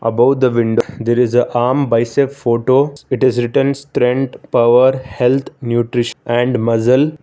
above the window there is a armed bicep photo it is written strength power health nutrish and muscle.